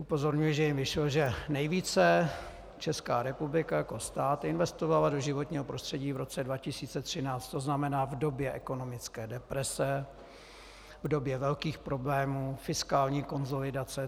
Upozorňuji, že jim vyšlo, že nejvíce Česká republika jako stát investovala do životního prostředí v roce 2013, to znamená v době ekonomické deprese, v době velkých problémů, fiskální konsolidace.